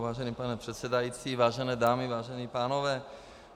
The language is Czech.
Vážený pane předsedající, vážené dámy, vážení pánové.